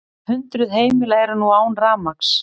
Hundruð heimila eru nú án rafmagns